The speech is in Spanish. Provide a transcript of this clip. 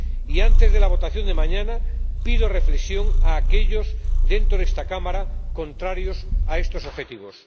Y antes de la votación de mañana, pido reflexión a aquellos, dentro de esta Cámara, contrarios a estos objetivos.